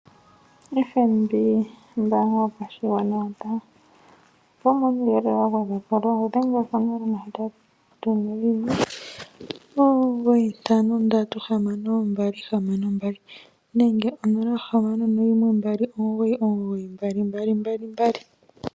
FNB ombaanga yopashigwana yotango opo wu mone uuyelele wa gwedhwa po dhengela konomola yo 0819536262 nenge 0612992222.